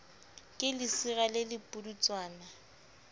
ke lesira le le pudutswana